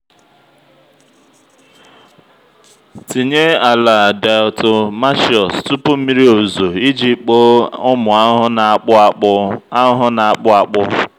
tinye ala diatomaceous tupu mmiri ozuzo iji kpoo ụmụ ahụhụ na-akpụ akpụ. ahụhụ na-akpụ akpụ.